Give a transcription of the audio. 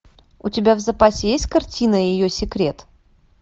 у тебя в запасе есть картина ее секрет